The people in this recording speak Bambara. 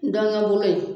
N dɔnkun in